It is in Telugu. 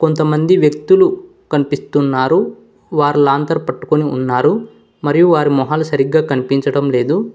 కొంతమంది వ్యక్తులు కనిపిస్తున్నారు వారు లాంతర్ పట్టుకొని ఉన్నారు మరియు వారి మొహాలు సరిగ్గా కనిపించడం లేదు.